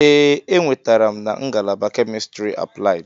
Ee, enwetara m na ngalaba Chemistry Applied.